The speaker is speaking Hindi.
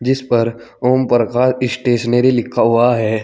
इस पर ओमप्रकाश स्टेशनरी लिखा हुआ है।